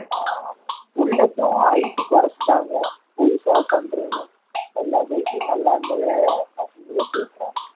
ஆஹ் ஆமா bullet உம் height குறைச்சுட்டாங்க புதுசா பன்றேன்னு எல்லா bike லியும் நல்லா இருந்தத அசிங்கப்படுத்தி இருக்கறாங்க